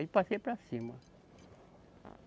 Aí passei para cima.